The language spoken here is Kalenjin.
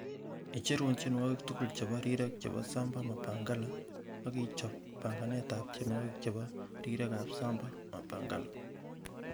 icherun tienwogik tugul chebo rirek chebo samba mapangala ak ichob panganet ab tienwogik chebo rirek ab samba mapangala